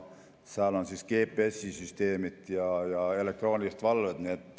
Seal on GPS-süsteemid ja elektrooniline valve.